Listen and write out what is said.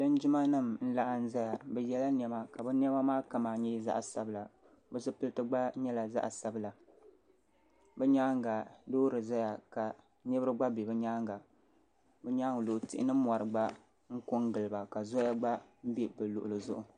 Linjima n laɣim zaya bi yɛla niɛma ka bi niɛma maa kama nyɛ zaɣa sabila bi zipiliti gba nyɛla zaɣa sabila bi nyaanga loori zaya ka niriba gba bɛ bi nyaanga bi nyaanga polo tihi ni mɔri gba n ko n giliba ka zɔya gba bɛ bi luɣuli zuɣu.